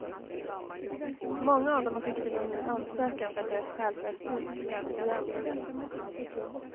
Många av dem har skickat in en ny ansökan för att deras skäl för asyl ska prövas igen.